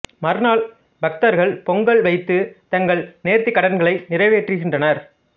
மறுநாள் பக்தர்கள் பொங்கல் வைத்து தங்கள் நேர்த்திக் கடன்களை நிறைவேற்றுகின்றனர்